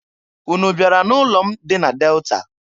Unu bịara n'ụlọ m dị na Delta?